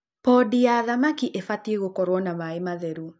Pondi ya thamaki ibatiĩ gũkorwo na maĩ matheru